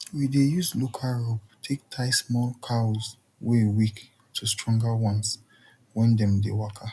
we dey use local rope take tie small cows wey weak to stronger ones when dem dey waka